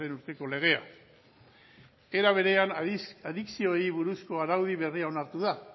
urteko legea era berean adikzioei buruzko araudi berria onartu da